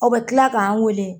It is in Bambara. Ɔ bɛ kila k'an weele.